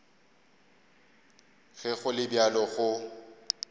ge go le bjalo go